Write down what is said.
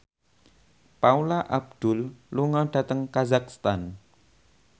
Paula Abdul lunga dhateng kazakhstan